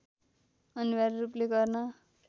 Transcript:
अनिवार्य रूपले गर्न